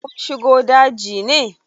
Kum shiga daji ne?